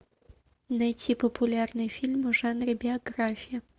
найти популярные фильмы в жанре биография